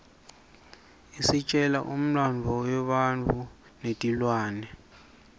isitjela umlandvo webantfu netilwane